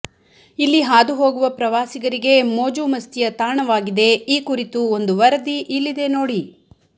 ಇಲ್ಲಿ ಹಾದು ಹೋಗುವ ಪ್ರವಾಸಿಗರಿಗೆ ಮೋಜು ಮಸ್ತಿಯ ತಾಣವಾಗಿದೆ ಈ ಕುರಿತು ಒಂದು ವರದಿ ಇಲ್ಲಿದೇ ನೋಡಿ